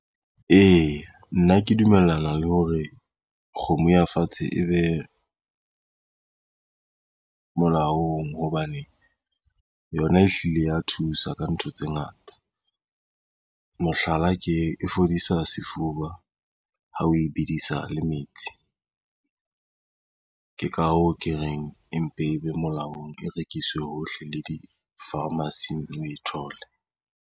Eya, nna ke dumellana le hore kgomo ya fatshe e be molaong hobane yona ehlile ya thusa ka ntho tse ngata. Mohlala, ke e fodisa sefuba ha o e bedisa le metsi. Ke ka hoo ke reng empe e be molaong e rekiswe hohle le di-pharmacy-ing o e thole.